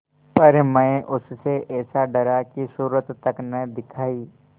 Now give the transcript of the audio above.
पर मैं उससे ऐसा डरा कि सूरत तक न दिखायी